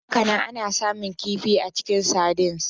Hakanan, ana samun kifi a cikin sardines.